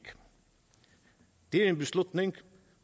det er en beslutning